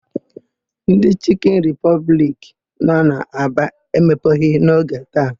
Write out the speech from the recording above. Ndị Chịkịn Ripọbliki nọ na Aba emepeghị n'oge taa.